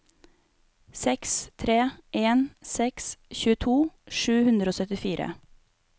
seks tre en seks tjueto sju hundre og syttifire